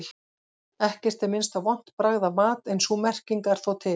Ekkert er minnst á vont bragð af mat en sú merking er þó til.